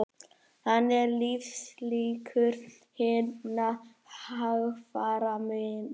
Þannig eru lífslíkur hinna hægfara minni